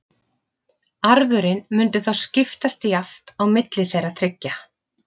Arfurinn mundi þá skiptast jafnt á milli þeirra þriggja.